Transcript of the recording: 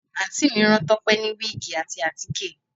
Àǹtí mi rán Tọ́pẹ́ ní wíìgì àti àtíkè